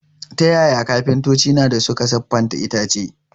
Ta yaya kafintoci na dā suka siffata itace?